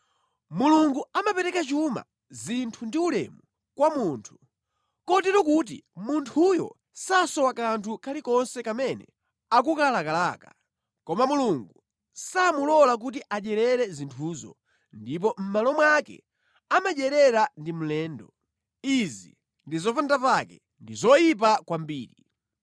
Mulungu amapereka chuma, zinthu ndi ulemu kwa munthu, kotero kuti munthuyo sasowa kanthu kalikonse kamene akukalakalaka, koma Mulungu samulola kuti adyerere zinthuzo, ndipo mʼmalo mwake amadyerera ndi mlendo. Izi ndi zopandapake, ndi zoyipa kwambiri.